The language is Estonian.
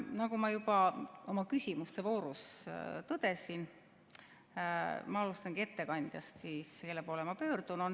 Nagu ma juba oma küsimuste voorus tõdesin, ma alustangi ettekandjast, kelle poole ma pöördun.